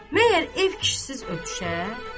Məyər ev kişisiz ötüşər?